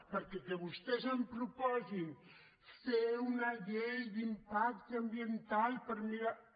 perquè que vostès em pro·posin fer una llei d’impacte ambiental per mirar